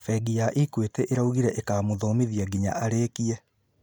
Bengi ya Equity ĩraugire ĩkũmũthomithia nginya arĩĩkie